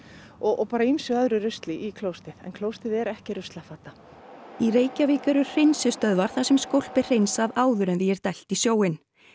og bara ýmsu öðru rusli í klósettið en klósettið er ekki ruslafata í Reykjavík eru hreinsistöðvar þar sem skólp er hreinsað áður en því er dælt í sjóinn